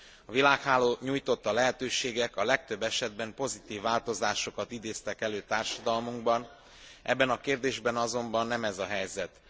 A világháló nyújtotta lehetőségek a legtöbb esetben pozitív változásokat idéztek elő társadalmunkban, ebben a kérdésben azonban nem ez a helyzet.